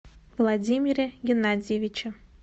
владимире геннадьевиче